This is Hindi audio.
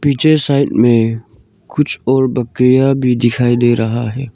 पीछे साइड में कुछ और बकरियां भी दिखाई दे रहा है।